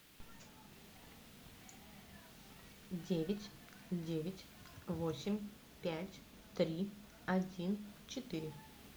девять девять восемь пять три один четыре